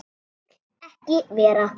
Vill ekki vera.